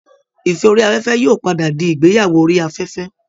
Ìfẹ́ orí afẹ́fẹ́ yóò padà di ìgbéyàwó orí afẹ́fẹ́